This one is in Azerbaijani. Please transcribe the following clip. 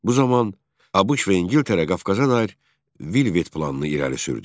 Bu zaman ABŞ və İngiltərə Qafqaza dair Vilvet planını irəli sürdü.